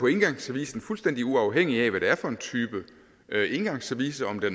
engangsservice er fuldstændig uafhængig af hvad det er for en type engangsservice om det